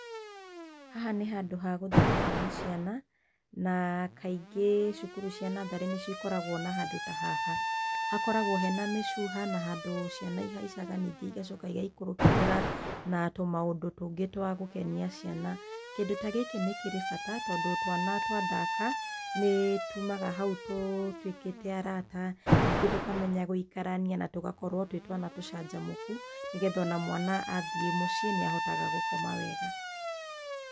Haha nĩ handũ ha gũthakĩrwo nĩ ciana, na kaingĩ cukuru cia natharĩ nĩcio ikoragwo na handũ ta haha. Hakoragwo hena mĩcuha na handũ ciana ihaicaga ningĩ igacoka igaikorokĩrĩra na tũmaũndũ tũngĩ twa gũkenia ciana. Kĩndũ ta gĩkĩ nĩ kĩrĩ bata tondũ twana twathaka nĩ tumaga hau tũtuikĩte arata ningĩ tũkamenya gũikarania na tũgakorwo twĩ twana tũcanjamũku nĩgetha ona mwana athiĩ muciĩ nĩahotaga gũkoma wega.